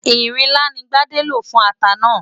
Ìrinlá ni Gbádé lò fún ata náà.